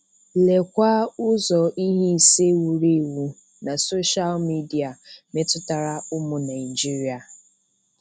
Lekwa ụzọ ihe ise wuru ewu na soshal midia metụtara ụmụ Naịjirịa